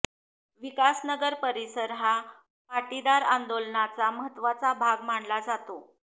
विकासनगर परिसर हा पाटीदार आंदोलनाचा महत्त्वाचा भाग मानला जातो